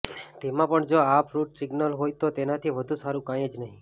તેમાં પણ જો આ ફ્રૂટ સિઝનલ હોય તો તેનાથી વધુ સારૂં કંઈ જ નહીં